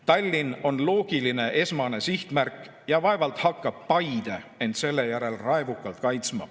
Tallinn on loogiline esmane sihtmärk ja vaevalt hakkab Paide end selle järel raevukalt kaitsma.